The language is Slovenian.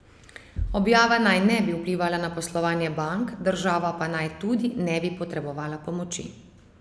Objava naj ne bi vplivala na poslovanje bank, država pa naj tudi ne bi potrebovala pomoči.